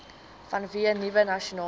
vanweë nuwe nasionale